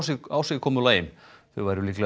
ásigkomulagi þau væru líklega